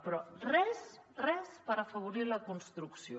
però res res per afavorir la construcció